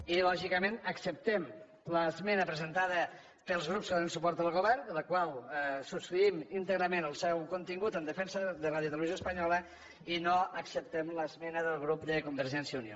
i lògicament acceptem l’esmena presentada pels grups que donen suport al govern de la qual subscrivim íntegrament el seu contingut en defensa de radiotelevisió espanyola i no acceptem l’esmena del grup de convergència i unió